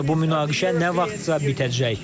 Məncə bu münaqişə nə vaxtsa bitəcək.